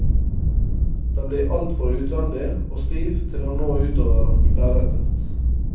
Den blir altfor utvendig og stiv til å nå ut over lerretet.